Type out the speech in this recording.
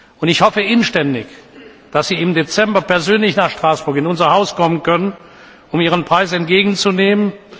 Und ich hoffe inständig, dass sie im Dezember persönlich nach Straßburg in unser Haus kommen können, um ihren Preis entgegenzunehmen.